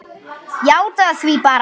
Játaðu það bara!